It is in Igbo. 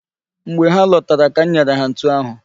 Mgbe ha lọtara ka m nyere ha ntụ ahụ.